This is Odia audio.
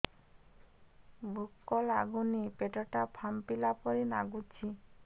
ଭୁକ ଲାଗୁନି ପେଟ ଟା ଫାମ୍ପିଲା ପରି ନାଗୁଚି